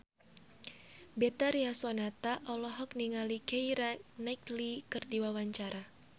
Betharia Sonata olohok ningali Keira Knightley keur diwawancara